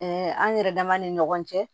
an yɛrɛ dama ni ɲɔgɔn cɛ